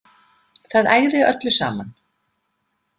Það ægði öllu saman.